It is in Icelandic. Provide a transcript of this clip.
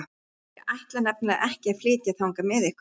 Ég ætla nefnilega ekki að flytja þangað með ykkur.